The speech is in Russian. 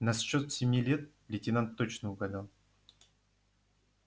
насчёт семи лет лейтенант точно угадал